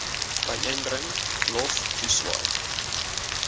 byeenbring lof toeswaai